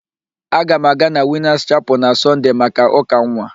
Aga m aga na Winas Chapel na Sọnde maka ụ́ka nwa.